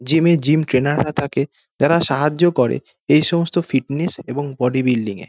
Gym এ gym trainer রা থাকে। তারা সাহায্য করে এই সমস্ত ফিটনেস এবং বডি বিল্ডিং এ।